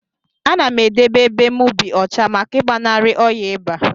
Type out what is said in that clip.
Anam edebe ebe mu bi ọcha maka igbanari ọya iba.